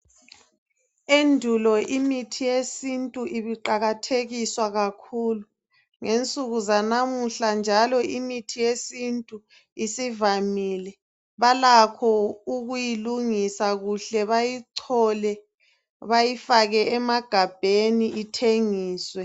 Endulo imithi yesintu ibiqakathekiswa kakhulu. Ngensuku zanamuhla njalo imithi yesintu isivamile. Balakho ukuyilungisa kuhle bayichole bayifake emagabheni ithengiswe.